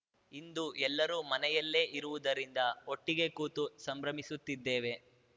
ಇಂದು ಎಲ್ಲರೂ ಮನೆಯಲ್ಲೇ ಇರುವುದರಿಂದ ಒಟ್ಟಿಗೆ ಕೂತು ಸಂಭ್ರಮಿಸುತ್ತಿದ್ದೇವೆ